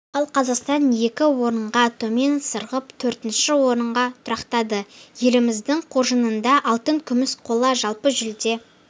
ал қазақсан екі орынға төмен сырғып төртінші орынға тұрақтады еліміздің қоржынында алтын күміс қола жалпы жүлде